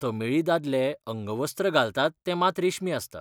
तमिळी दादले अंगवस्त्र घालतात तें मात रेशमी आसता.